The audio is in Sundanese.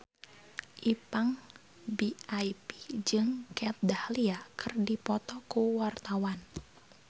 Ipank BIP jeung Kat Dahlia keur dipoto ku wartawan